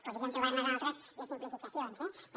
podríem trobar ne d’altres de simplificacions eh també